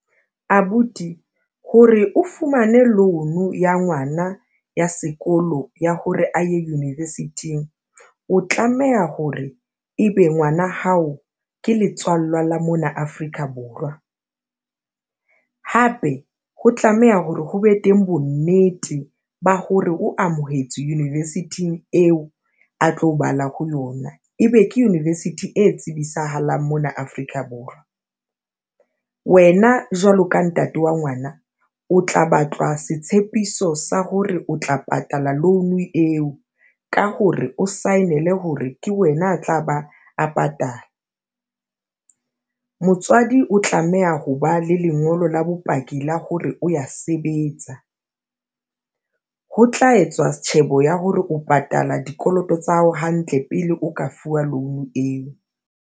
Abuti hore o fumane loan ya ngwana ya sekolo ya hore a ye university-ing o tlameha hore ebe ngwana hao ke letswalla la mona Afrika Borwa, hape ho tlameha hore ho be teng bonnete ba hore o amohetswe university-ing eo a tlo bala ho yona. Ebe ke university e tsibisahalang mona Afrika Borwa, wena jwalo ka ntate wa ngwana, o tla batlwa setshepiso sa hore o tla patala loan eo ka hore o sign-ele hore ke wena a tla ba a patala. Motswadi o tlameha ho ba le lengolo la bopaki la hore o ya sebetsa. Ho tla etswa tjhebo ya hore o patala dikoloto tsa hao hantle pele o ka fuwa loan eo.